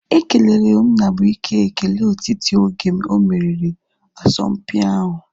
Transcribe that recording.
Ekelere Nnabuike ekele otiti oge omeriri asọmpi ahu